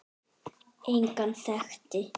Engan þekkti